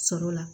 Sɔrɔ la